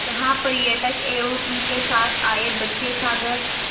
जहाँ पर्यटक एवं उनके साथ आए बच्चे सागर